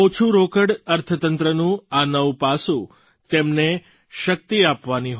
ઓછું રોકડ અર્થતંત્રનું આ નવું પાસું તેમને શક્તિ આપવાની હોય